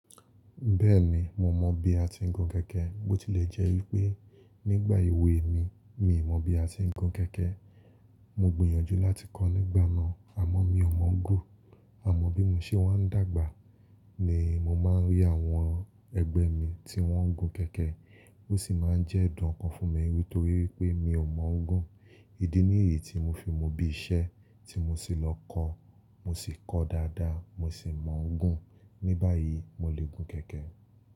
Bẹ́ẹ̀ni, mo mọ bí a ti ń gun kẹ̀kẹ́, bó ti lè jẹ́ wípé nígbà èwe mi, mi ò mọ bí a ti ń gun kẹ̀kẹ́. Mo gbìyànjú láti kọ́ nígbà náà àmọ́ mi ò mọ gun. Àmọ́ bí mo ṣe máa ń dàgbà ni mo máa ń rí àwọn ẹgbẹ́ mi tí wọ́n ń gun kẹ̀kẹ́, ó sì máa ń jẹ́ ẹ̀dùn kan fún mi nítorí pé mi ò mọ gun. Ídí nìyí tí mo fi mu bí iṣẹ́ tí mo sì lọ kọ́, mo sì kọ́ dáadáa, mo sì mọ́ n gùn. Ní báyìí, mo lè gun kẹ̀kẹ́